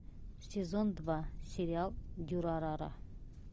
сезон два сериал дюрарара